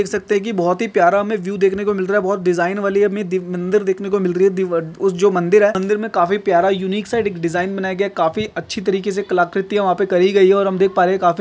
देख सकते है की बहुत ही प्यारा हमे व्हिव देखने को मिल रहा है। बहुत डिझाईन वाली मं- मंदिर देखने मिल रही है अ उस जो मंदिर है मंदिर मै काफी प्यारा यूनिकसा डिझाईन बनया गया काफी अछि तरिके से कला कृती करी गई है और हम देख पा रहे है।